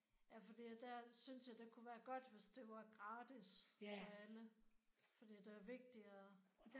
Ja fordi at der synes jeg det kunne være godt hvis det var gratis ved alle fordi det er vigtigt og